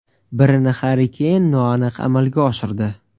Birini Harri Keyn noaniq amalga oshirdi.